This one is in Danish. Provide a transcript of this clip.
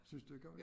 Synes du ikke også